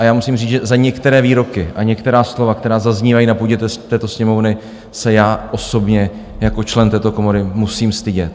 A já musím říct, že za některé výroky a některá slova, která zaznívají na půdě této Sněmovny, se já osobně jako člen této komory musím stydět.